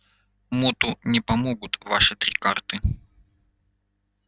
моту не помогут ваши три карты